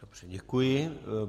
Dobře, děkuji.